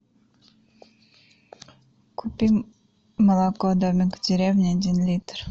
купи молоко домик в деревне один литр